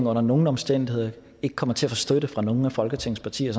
under nogen omstændigheder kommer til at få støtte fra nogen af folketingets partier